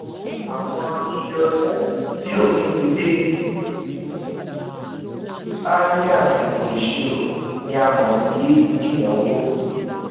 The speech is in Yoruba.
àwọn iye ọjà tí òpin ti dé bá ní àsìkò ìṣirò ni a mọ sí ìnáwó